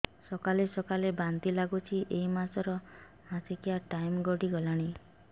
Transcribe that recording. ସକାଳେ ସକାଳେ ବାନ୍ତି ଲାଗୁଚି ଏଇ ମାସ ର ମାସିକିଆ ଟାଇମ ଗଡ଼ି ଗଲାଣି